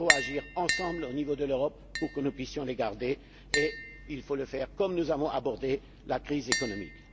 Il faut agir ensemble au niveau de l'Europe pour que nous puissions les garder et il faut le faire comme nous avons abordé la crise économique.